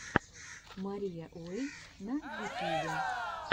мария уэй на ютьюбе